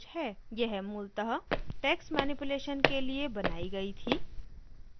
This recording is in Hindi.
यह मूलतः टेक्स्ट मनिप्यूलैशन के लिए बनायी गयी थी